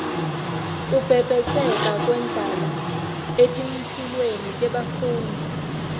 kubhebhetseka kwendlala etimphilweni tebafundzi